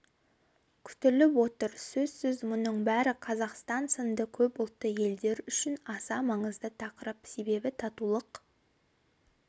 күтіліп отыр сөзсіз мұның бәрі қазақстан сынды көпұлтты елдер үшін аса маңызды тақырып себебі татулық